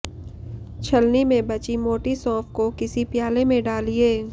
छलनी में बची मोटी सौंफ को किसी प्याले में डालिए